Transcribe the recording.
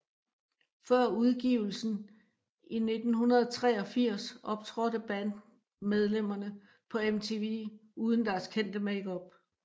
Før udgivelsen i 1983 optrådte bandmedlemmerne på MTV uden deres kendte makeup